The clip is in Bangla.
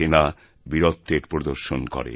সেনা বীরত্বের প্রদর্শন করে